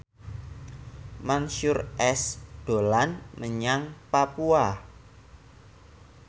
Mansyur S dolan menyang Papua